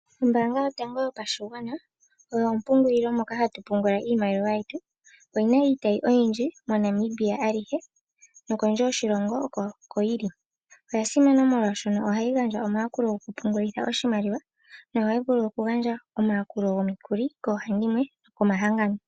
Ombaanga yotango yopashigwana oyo ompungulilo moka hatu pungula iimaliwa yetu, oyi na iitayi oyindji moNamibia alihe nokondje yoshilongo oko yili. Oya simana molwaashono ohayi gandja omayakulo gokupungulitha oshimaliwa nohayi vulu okugandja omayakulo gomikuli koohandimwe nokomahangano.